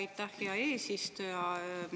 Aitäh, hea eesistuja!